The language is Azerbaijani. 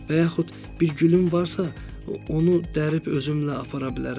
Və yaxud bir gülün varsa, onu dərib özümlə apara bilərəm.